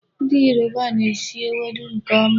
Ndị Yoruba na-esi ewedu nke ọma.